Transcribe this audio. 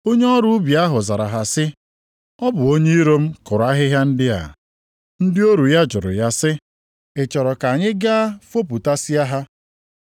“Onye ọrụ ubi ahụ zara ha sị, ‘Ọ bụ onye iro m kụrụ ahịhịa ndị a.’ “Ndị ọrụ ya jụrụ ya sị, ‘Ị chọrọ ka anyị gaa fopụtasịa ha?’